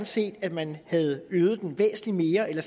set at man havde øget den væsentlig mere eller